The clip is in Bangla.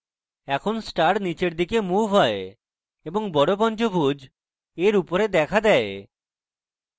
এখন star নীচের দিকে moved হয় এবং বড় পঞ্চভূজ এর উপরে দেখা দেয়